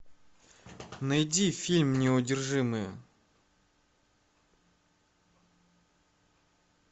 найди фильм неудержимые